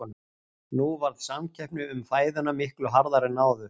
Nú varð samkeppni um fæðuna miklu harðari en áður.